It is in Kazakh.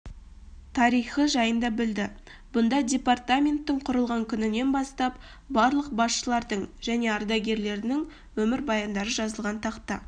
тарихы жайында білді бұнда департаменттің құрылған күнінен бастап барлық басшылардың және ардагерлерінің өмірбаяндары жазылған тақта